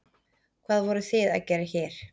Hvað voruð þið að gera hér?